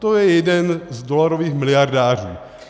To je jeden z dolarových miliardářů.